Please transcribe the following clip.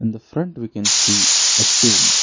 In the front we can see a tomb.